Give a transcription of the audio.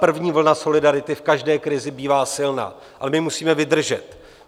První vlna solidarity v každé krizi bývá silná, ale my musíme vydržet.